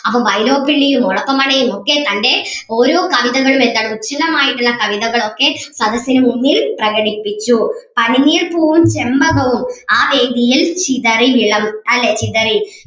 അപ്പം വൈലോപ്പിള്ളിയും ഒളപ്പമണ്ണയും ഒക്കെ തന്നെ ഓരോ കവിതകളും എന്താണ് ഉചിതമായിട്ടുള്ള കവിതകൾ ഒക്കെ സദസ്സിനു മുൻപിൽ പ്രകടിപ്പിച്ചു പനിനീർപ്പൂവും ചെമ്പകവും ആ വേദിയിൽ ചിതറി വിളമ്പ് അല്ലെ ചിതറി